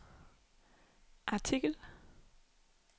artikel